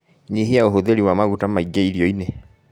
Nyihia ũhũthĩri wa maguta maĩ ngĩ irio-inĩ